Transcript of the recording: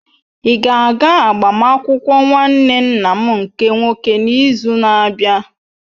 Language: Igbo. Ị ga-aga agbamakwụkwọ nwanne nna m nke nwoke n'izu na-abịa?